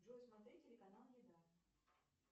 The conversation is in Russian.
джой смотреть телеканал еда